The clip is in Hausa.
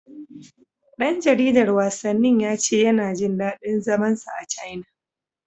Ɗan jaridar wasannin ya ce yana jin daɗin zaman sa a Caina.